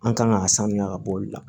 An kan ka sanuya ka bɔ olu la